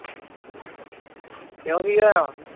ਕਿਉ ਕਿ ਹੋਇਆ